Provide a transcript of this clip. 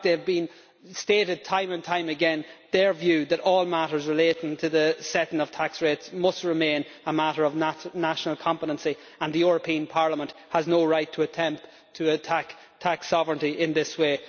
In fact, they have stated time and time again their view that all matters relating to the setting of tax rates must remain a matter of national competency and the European Parliament has no right to attempt to attack tax sovereignty in this way.